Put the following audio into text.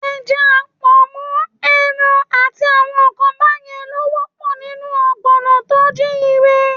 Ẹja, pọ̀nmọ́, ẹran àti àwọn nǹkan báyẹn ló ń wà nínú ọ̀gbọ̀nà tó jíire.